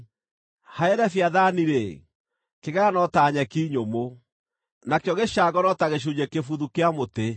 Harĩ Leviathani-rĩ, kĩgera no ta nyeki nyũmũ, nakĩo gĩcango no ta gĩcunjĩ kĩbuthu kĩa mũtĩ.